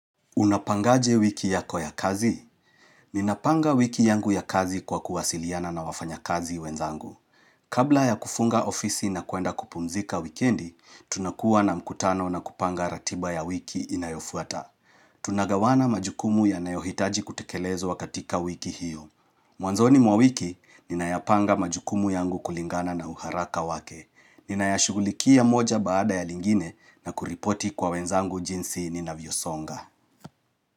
Unapangaje wiki yako ya kazi? Ninapanga wiki yangu ya kazi kwa kuwasiliana na wafanyakazi wenzangu. Kabla ya kufunga ofisi na kuenda kupumzika wikendi, tunakuwa na mkutano na kupanga ratiba ya wiki inayofuata. Tunagawana majukumu yanayohitaji kutekelezwa katika wiki hiyo. Mwanzoni mwa wiki, ninayapanga majukumu yangu kulingana na uharaka wake. Ninayashugulikia moja baada ya lingine na kuripoti kwa wenzangu jinsi ninavyosonga.